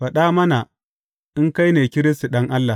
Faɗa mana in kai ne Kiristi, Ɗan Allah.